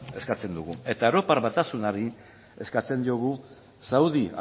eskatzen dugu eta europar batasunari eskatzen diogu saudi